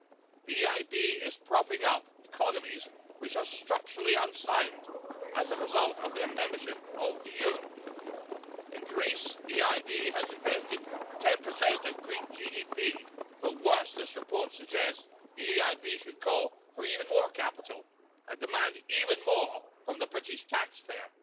The EIB is propping up economies which are structurally unsound as a result of their membership of the euro in Greece the EIB has invested 10 of Greek GDP but worse, this report suggests the EIB should call for even more capital, and demand even more from the British taxpayer.